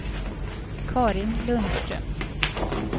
Carin Lundström